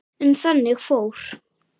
En þannig fór.